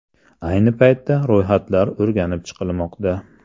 Ayni paytda ro‘yxatlar o‘rganib chiqilmoqda.